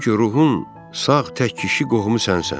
Çünki ruhun sağ tək kişi qohumu sənsən.